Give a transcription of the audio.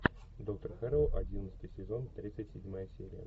доктор хэрроу одиннадцатый сезон тридцать седьмая серия